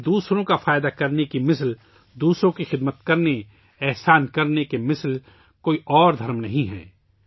یعنی دوسروں کا فائدہ کرنے کے برابر ، دوسروں کی خدمت کرنے کے برابر اور دوسروں کی بھلائی کرنے کے برابر اور کوئی دھرم نہیں ہے